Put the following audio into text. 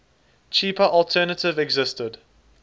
cheaper alternative existed